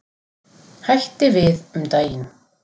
Hætti við um daginn.